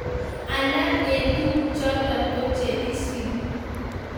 Alak en tuguk chuton ko che isubi